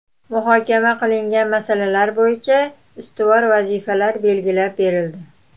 Muhokama qilingan masalalar bo‘yicha ustuvor vazifalar belgilab berildi.